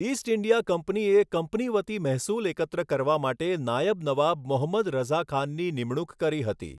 East India કંપનીએ company વતી મહેસૂલ એકત્ર કરવા માટે નાયબ નવાબ મોહમ્મદ રઝા ખાનની નિમણૂક કરી હતી.